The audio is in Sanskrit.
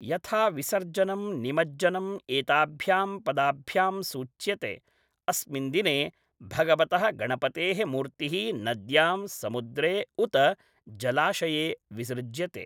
यथा विसर्जनं निमज्जनम् एताभ्यां पदाभ्यां सूच्यते, अस्मिन् दिने भगवतः गणपतेः मूर्तिः नद्यां, समुद्रे, उत जलाशये विसृज्यते।